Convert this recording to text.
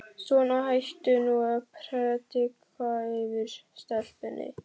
Svona, hættu nú að predika yfir stelpunni.